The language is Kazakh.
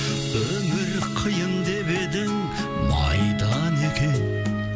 өмір қиын деп едің майдан екен